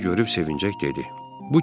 O bizi görüb sevinəcək dedi.